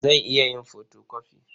Zan iya yin fotokofi.